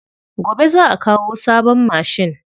Gobe za'a kawo sabon mashin.